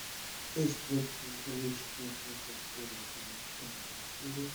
эш против зловещих мертвецов первый сезон вторая серия